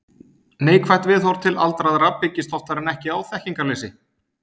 Neikvætt viðhorf til aldraðra byggist oftar en ekki á þekkingarleysi.